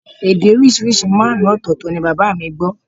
Èdè oríṣiríṣi márùn-ún ọ̀tọ̀ọ̀tọ̀ ni bàbá mi gbọ́